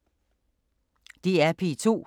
DR P2